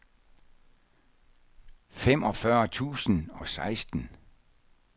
femogfyrre tusind og seksten